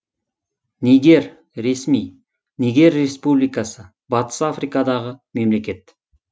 нигер ресми нигер республикасы батыс африкадағы мемлекет